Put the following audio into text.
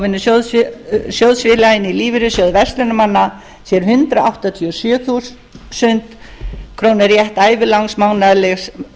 sjóðsfélaginn í lífeyrissjóði verslunarmanna sér hundrað áttatíu og sjö þúsund krónur rétt til ævilangs mánaðarlegs